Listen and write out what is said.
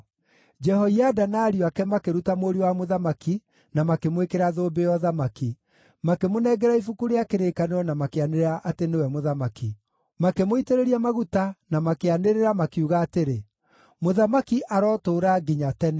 Jehoiada na ariũ ake makĩruta mũriũ wa mũthamaki na makĩmwĩkĩra thũmbĩ ya ũthamaki; makĩmũnengera ibuku rĩa kĩrĩkanĩro na makĩanĩrĩra atĩ nĩwe mũthamaki. Makĩmũitĩrĩria maguta na makĩanĩrĩra, makiuga atĩrĩ, “Mũthamaki arotũũra nginya tene!”